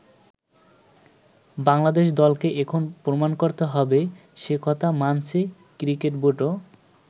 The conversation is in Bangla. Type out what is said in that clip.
বাংলাদেশ দলকে এখন প্রমাণ করতে হবে সে কথা মানছে ক্রিকেট বোর্ডও।